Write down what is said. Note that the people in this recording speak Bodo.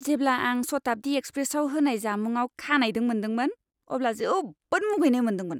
जेब्ला आं शताब्दी एक्सप्रेसआव होनाय जामुंआव खानाइदों मोनदोंमोन अब्ला जोबोद मुगैनाय मोनदोंमोन।